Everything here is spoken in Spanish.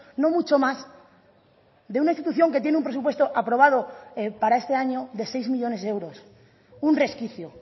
no mucho más de una institución que tiene un presupuesto aprobado para este año de seis millónes de euros un resquicio